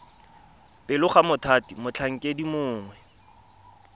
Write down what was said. pele ga mothati motlhankedi mongwe